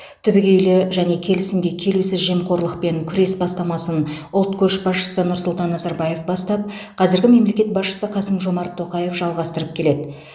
түбегейлі және келісімге келусіз жемқорлықпен күрес бастамасын ұлт көшбасшысы нұрсұлтан назарбаев бастап қазіргі мемлекет басшысы қасым жомарт тоқаев жалғастырып келеді